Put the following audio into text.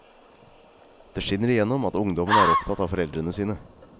Det skinner i gjennom at ungdommene er opptatt av foreldrene sine.